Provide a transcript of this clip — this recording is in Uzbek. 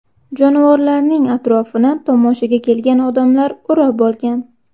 Jonivorlarning atrofini tomoshaga kelgan odamlar o‘rab olgan.